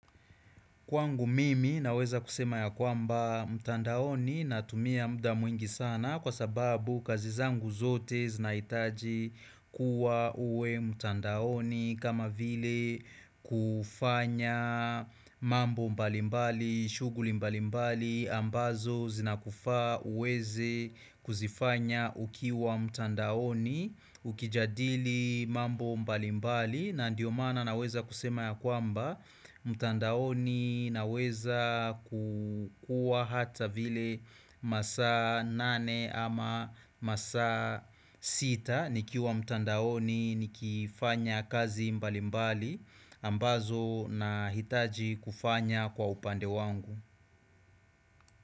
Kwangu mimi naweza kusema ya kwamba mtandaoni natumia muda mwingi sana kwa sababu kazi zangu zote zinahitaji kuwa uwe mtandaoni kama vile kufanya mambo mbalimbali, shughuli mbalimbali, ambazo zinakufaa uweze kuzifanya ukiwa mtandaoni Ukijadili mambo mbali mbali na ndiyo maana naweza kusema ya kwamba mtandaoni naweza kukuwa hata vile masaa nane ama masaa sita nikiwa mtandaoni nikifanya kazi mbali mbali ambazo nahitaji kufanya kwa upande wangu.